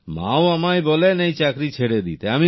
মা ও আমায় বলেন এই চাকরি ছেড়ে দিতে